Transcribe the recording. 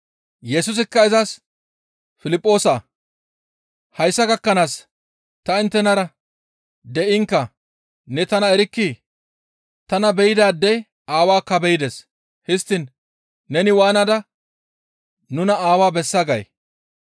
Yesusikka izas, «Piliphoosaa! Hayssa gakkanaas ta inttenara de7inkka ne tana erkkii? Tana be7idaadey Aawaakka be7ides; histtiin neni waanada, ‹Nuna Aawaa bessa› gay?